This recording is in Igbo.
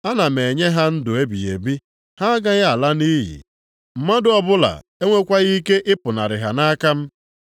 Ana m enye ha ndụ ebighị ebi. Ha agaghị ala nʼiyi. Mmadụ ọbụla enwekwaghị ike ịpụnarị ha nʼaka m.